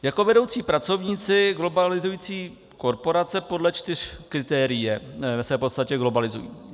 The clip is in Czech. Jako vedoucí pracovníci globalizující korporace podle čtyř kritérií se v podstatě globalizují.